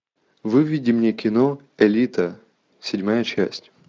выведи мне кино элита седьмая часть